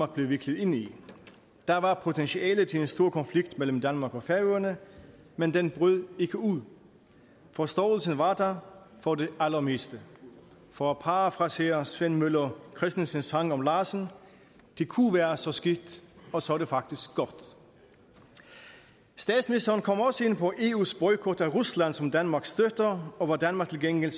blev viklet ind i der var potentiale til en stor konflikt mellem danmark og færøerne men den brød ikke ud forståelsen var der for det allermeste for at parafrasere sven møller kristensens sangen om larsen det kunne være så skidt og så er det faktisk godt statsministeren kom også ind på eus boykot af rusland som danmark støtter og hvor danmark til gengæld